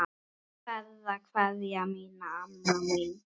Berðu kveðju mína, amma mín.